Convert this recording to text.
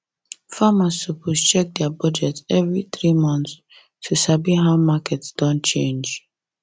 farmers suppose check their budget every three months to to sabi how market don change